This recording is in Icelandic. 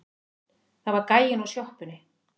Það var gæinn úr sjoppunni.